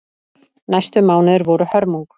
Næstu mánuðir voru hörmung.